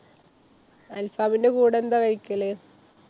അൽഫാമിന്‍ടെ കൂടെ എന്താ കഴിക്കല്?